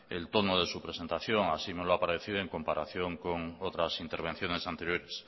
el tono de su presentación así me lo ha aparecido en comparación con otras intervenciones anteriores